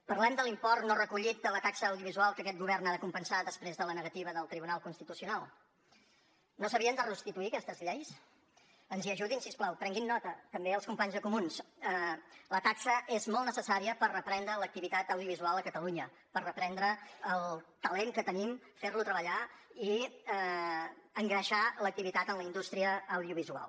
parlem de l’import no recollit de la taxa audiovisual que aquest govern ha de compensar després de la negativa del tribunal constitucional no s’havien de restituir aquestes lleis ens hi ajudin si us plau prenguin ne nota també els companys de comuns la taxa és molt necessària per reprendre l’activitat audiovisual a catalunya per reprendre el talent que tenim fer lo treballar i engreixar l’activitat en la indústria audiovisual